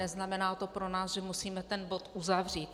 Neznamená to pro nás, že musíme ten bod uzavřít.